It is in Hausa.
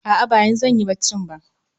A'a ba yanzu zanyi bacci ba